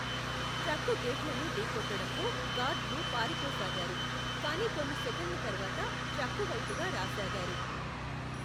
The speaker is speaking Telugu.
ట్రక్కు గేట్లను ఢీకొట్టడంతో గార్డ్లు పారిపోసాగారు, కానీ కొన్ని సెకన్ల తర్వాత ట్రక్కు వైపుగా రాసాగారు.